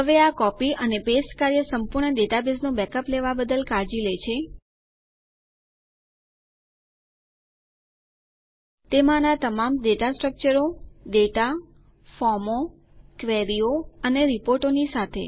હવે આ કોપી અને પેસ્ટ કાર્ય સંપૂર્ણ ડેટાબેઝનું બેકઅપ લેવાં બદ્દલ કાળજી લે છે તેમાંનાં તમામ ડેટા સ્ટ્રકચરો ડેટા ફોર્મો ક્વેરીઓ અને રીપોર્ટોની સાથે